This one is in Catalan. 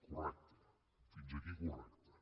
correcte fins aquí correcte